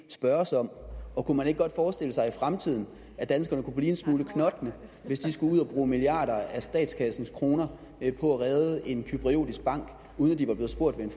spørges om og kunne man ikke godt forestille sig i fremtiden at danskerne kunne blive en lille smule knotne hvis de skulle ud at bruge milliarder af statskassens kroner på at redde en cypriotisk bank uden at de var blevet spurgt ved